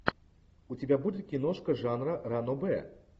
у тебя будет киношка жанра ранобэ